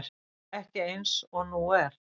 Ekki eins og nú er.